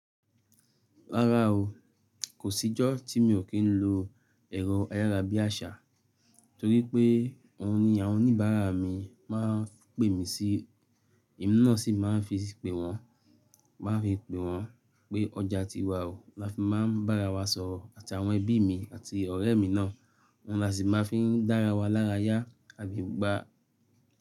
Rárá o, kò sí ìjọ́ tí mi ò kí ń lo ẹ̀rọ ayára bí àṣá, torí pé ohun ni àwọn oníbàárà mi máa ń pè mí sí, èmi náà sì máa ń fi pè wọ́n, pé ọjà ti wà, làá fi máa ń bára wa sọ̀rọ̀ àti àwọn ẹbí mi àti ọ̀rẹ́ mi náà, ohun la sì máa ń fi dára wa lára yá.